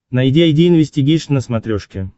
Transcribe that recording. найди айди инвестигейшн на смотрешке